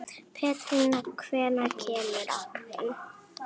Pétrína, hvenær kemur áttan?